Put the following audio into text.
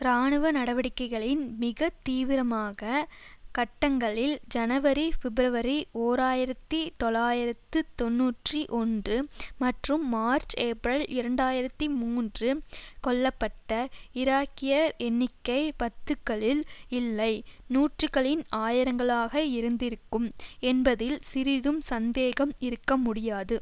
இராணுவ நடவடிக்கைகளின் மிக தீவிரமாக கட்டங்களில் ஜனவரி பிப்ரவரி ஓர் ஆயிரத்தி தொள்ளாயிரத்து தொன்னூற்றி ஒன்று மற்றும் மார்ச் ஏப்ரல் இரண்டாயிரத்தி மூன்று கொல்ல பட்ட ஈராக்கியர் எண்ணிக்கை பத்துகளில் இல்லை நூறுகளின் ஆயிரங்களாக இருந்திருக்கும் என்பதில் சிறிதும் சந்தேகம் இருக்க முடியாது